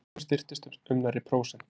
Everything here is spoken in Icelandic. Krónan styrktist um nærri prósent